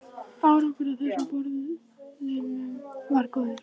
Árangur af þessum borunum varð góður.